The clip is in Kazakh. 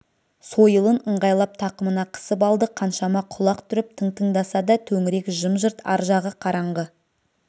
сойылын ыңғайлап тақымына қысып алды қаншама құлақ түріп тың тыңдаса да төңірек жым-жырт ар жағы қараңғы